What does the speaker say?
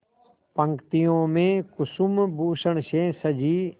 पंक्तियों में कुसुमभूषण से सजी